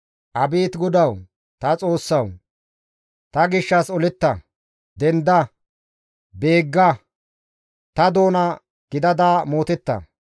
Abeet Godawu, ta Xoossawu! Ta gishshas oletta; denda; beegga; ta doona gidada mootetta.